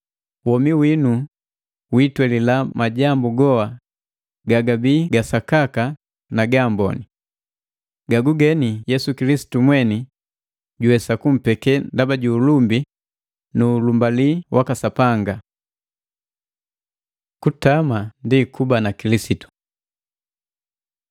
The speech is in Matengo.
Womi winu witweelila majambu goa gagabii gasakaka na gaamboni. Gagugeni Yesu Kilisitu mweni juwesa kumpeke, ndaba ju ulumbi nu ulumbalii waka Sapanga. Kutama ndi kuba na Kilisitu mmoju